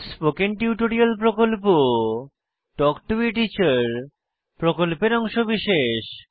spoken tutorial প্রকল্প talk to a teacher প্রকল্পের অংশবিশেষ